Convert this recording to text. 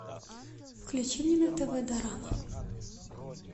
включи мне на тв дорама